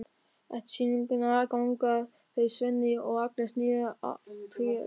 Eftir sýninguna ganga þau Svenni og Agnes niður að Tjörn.